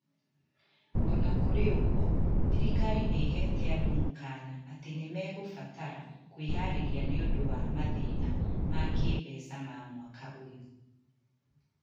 O na kũrĩ ũguo, thirikari nĩ ĩheete andũ mũkaana atĩ nĩ mekũbatara kwĩharĩria nĩ ũndũ wa mathĩna ma kĩĩmbeca ma mwaka ũyũ.